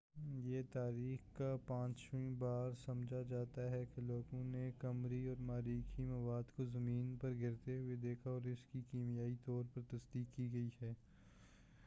یہ تاریخ کا پانچواں بار سمجھا جاتا ہے کہ لوگوں نے قمری اور مریخی مواد کو زمین پر گرتے ہوئے دیکھا اور اسکی کیمیائی طور پر تصدیق کی گئی ہے